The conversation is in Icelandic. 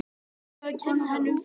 Af hverju að kenna henni um það?